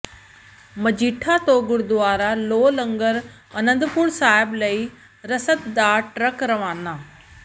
ਮਜੀਠਾ ਤੋਂ ਗੁਰਦੁਆਰਾ ਲੋਹ ਲੰਗਰ ਅਨੰਦਪੁਰ ਸਹਿਬ ਲਈ ਰਸਦ ਦਾ ਟਰੱਕ ਰਵਾਨਾ